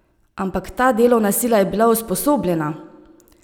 Ampak ta delovna sila je bila usposobljena!